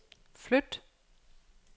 flyt